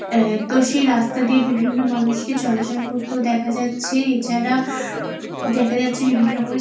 এ তো সেই রাস্তা দিয়ে বিভিন্ন মানুষ কে চলাচল করতেও দেখা যাচ্ছে। এছাড়া দেখা যাচ্ছে বিভিন্ন রকমের--